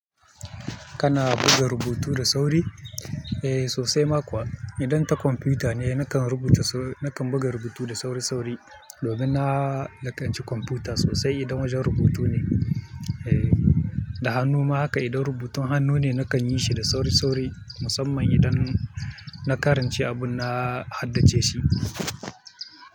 Kana buga rubutu da sauri? Eh sosai ma kuwa, idan ta kwamfuta ne nakan rubuta su-- nakan buga rubutu da sauri-sauri domin na lakanci kwamfuta sosai idan wajen rubutu ne. Eh da hannu ma haka idan rubutun hannu ne nakan yi shi da sauri-sauri musamman idan na karance abun na haddace shi.